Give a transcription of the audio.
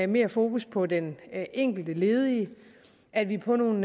mere fokus på den enkelte ledige at vi på nogle